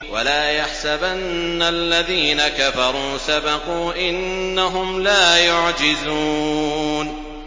وَلَا يَحْسَبَنَّ الَّذِينَ كَفَرُوا سَبَقُوا ۚ إِنَّهُمْ لَا يُعْجِزُونَ